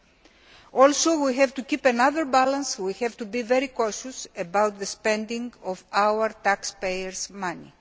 We also have to keep another balance we have to be very cautious about the spending of our taxpayers' money.